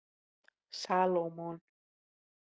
Salómon